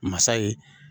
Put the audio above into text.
Masa ye